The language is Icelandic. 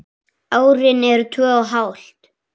Árin eru tvö og hálft.